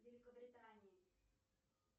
великобритании